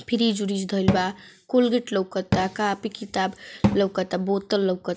Fridge उरीज धइल बा। कोलगेट लउकता कॉपी किताब लउकता। बोतल लौकत --